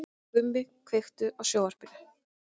Gumi, kveiktu á sjónvarpinu.